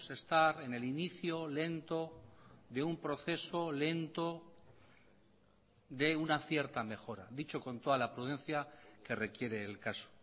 estar en el inicio lento de un proceso lento de una cierta mejora dicho con toda la prudencia que requiere el caso